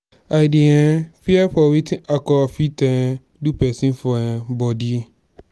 i dey um fear for wetin alcohol fit um do pesin for um bodi.